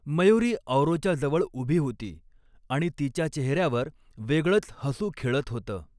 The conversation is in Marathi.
मयुरी औरोच्या जवळ उभी होती आणि तिच्या चेहेर्यावर वेगळच हसु खेळत होतं.